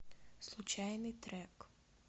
случайный трек